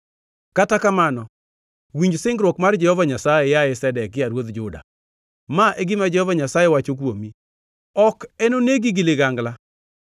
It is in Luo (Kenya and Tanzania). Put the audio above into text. “ ‘Kata kamano winj singruok mar Jehova Nyasaye, yaye Zedekia ruodh Juda. Ma e gima Jehova Nyasaye wacho kuomi: Ok enonegi gi ligangla;